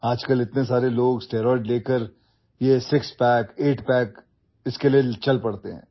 আজিকালি ইমানবোৰ মানুহে ষ্টেৰইড লৈ ছয় পেক আঠ পেকৰ বাবে দৌৰিছে